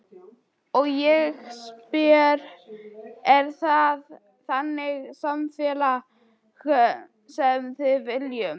Og ég spyr, er það þannig samfélag sem við viljum?